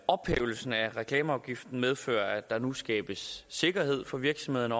ophævelse af reklameafgiften medfører at der nu skabes sikkerhed for virksomhederne